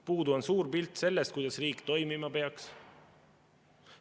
Puudu on suur pilt sellest, kuidas riik toimima peaks.